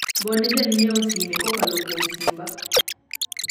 gone janyiewo sime kokalo kuom simba